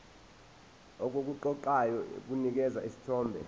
okuqoqayo kunikeza isithombe